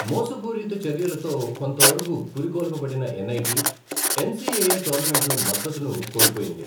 మోసపూరిత చర్యలతో కొంతవరకు పురికొల్పబడిన ఎన్ఐటి, ఎన్సిఏఏ టోర్నమెంట్లో మద్దతును కోల్పోయింది.